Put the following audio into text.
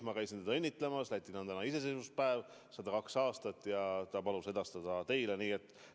Ma käisin teda õnnitlemas, Lätis on täna iseseisvuspäev – 102 aastat – ja ta palus edastada teile parimad soovid.